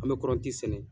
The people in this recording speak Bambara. An bɛ kɔrɔnti sɛnɛ